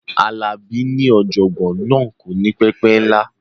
Alabi ní ọ̀jọ̀gbọ́n náà kò ní pẹpẹ ńlá